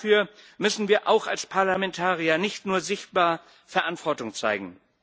Dafür müssen wir auch als Parlamentarier nicht nur sichtbar Verantwortung zeigen.